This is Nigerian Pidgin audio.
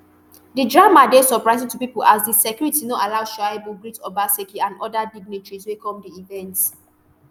di drama dey surprising to pipo as di security no allow shaibu greet obaseki and oda dignitaries wey come di event